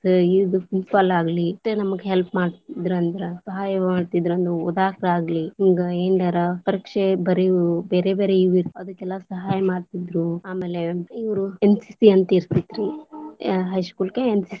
ಆ ಇದ್ principal ಆಗ್ಲಿ ಇಷ್ಟ ನಮಗ help ಮಾಡ್ತಿದ್ರಂದ, ಸಹಾಯ ಮಾಡ್ತಿದ್ರಂದ ಓದಾಕ ಆಗ್ಲಿ ಹಿಂಗ ಏನಾರ ಪರೀಕ್ಷೆ ಬರಿಯುದ ಬೇರೆ ಬೇರೆ ಇವ ಇದ್ರೀ ವ ಅದಕ್ಕೆಲ್ಲಾ ಸಹಾಯ ಮಾಡ್ತಿದ್ರು ಆಮೇಲೆ ಇವ್ರು NCC ಅಂತ ಇರ್ತಿತ್ತರೀ high school ಕ್ಕ NCC .